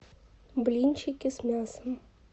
блинчики с мясом